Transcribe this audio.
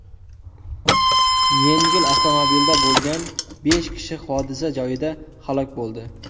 Yengil avtomobilda bo‘lgan besh kishi hodisa joyida halok bo‘ldi.